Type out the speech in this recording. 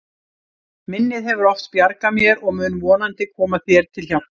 Minnið hefur oft bjargað mér og mun vonandi koma þér til hjálpar.